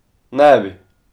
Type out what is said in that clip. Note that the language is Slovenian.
Ne bi!